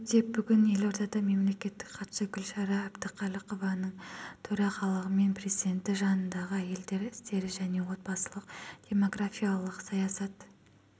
өтсек бүгін елордада мемлекеттік хатшы гүлшара әбдіқалықованың төрағалығымен президенті жанындағы әйелдер істері және отбасылық-демографиялық саясат